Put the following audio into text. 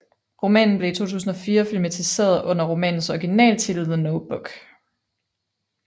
Romanen blev i 2004 filmatiseret under romanens originaltitel The Notebook